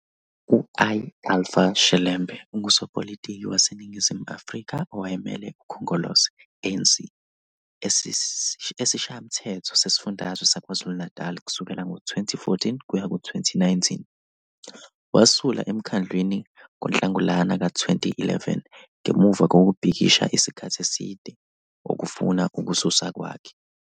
U-I-Alpha Shelembe ungusopolitiki waseNingizimu Afrika owayemele uKhongolose, ANC, eSishayamthetho Sesifundazwe saKwaZulu-Natal kusukela ngo-2014 kuya ku-2019. Wasula emkhandlwini ngoNhlangulana ka-2011 ngemuva kokubhikisha isikhathi eside okufuna ukususwa kwakhe.